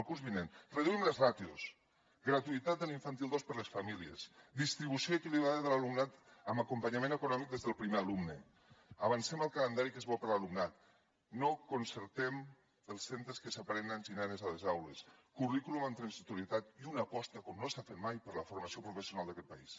el curs vinent reduïm les ràtios gratuïtat de l’infantil dos per a les famílies distribució equilibrada de l’alumnat amb acompanyament econòmic des del primer alumne avancem el calendari que és bo per a l’alumnat no concertem els centres que separen nens i nenes a les aules currículum amb transitorietat i una aposta com no s’ha fet mai per la formació professional d’aquest país